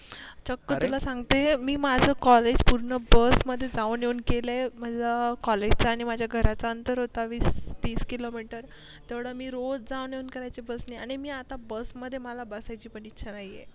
चक्क तुला सांगते मी माझं कॉलेज पूर्ण बस मधी जाऊन येऊन केलय मला college च आणि घराचं अनंतर होत. वीस तीस किलो मीटर तेवढ मी रोज जाऊन येऊन करायची bus नि आणि मी आता bus मध्ये मला बसायची पण इच्छा नाहीये.